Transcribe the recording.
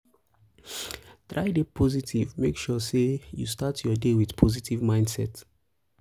try de positive make sure say you start your day with positive mindset